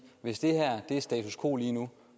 hvis det her er status quo lige nu